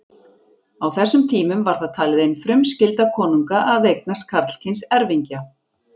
Á þessum tímum var það talið ein frumskylda konunga að eignast karlkyns erfingja.